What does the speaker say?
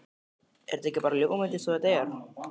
Er þetta ekki bara ljómandi eins og þetta er?